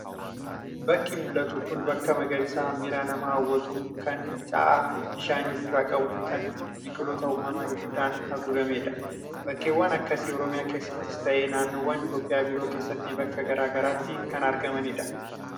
Bakki mul'atu kun bakka magariisa miira namaa hawwatu, kan fincaa'aa bishaanii ofirraa qabu fi kan biqiloota uumamaa hedduudhaan haguugamedha. Bakkeewwan akkasii Oromiyaa keessattis ta'ee naannoowwan Itoophiyaa biroo keessatti bakka gara garaatti kan argamanidha.